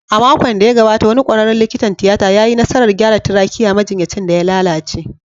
A makon da ya gabata, wani kwararen likitan tiyata ya yi nasarar gyara trachea majinyacin da ya lalace